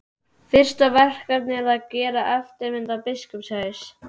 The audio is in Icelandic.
Fyrsta verkefnið er að gera eftirmynd af biskupshaus.